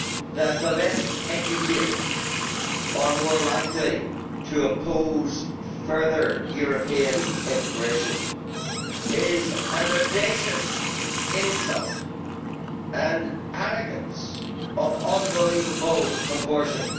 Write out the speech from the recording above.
that the less educated are more likely to oppose further European integration is an audacious insult and arrogance of unbelievable proportions.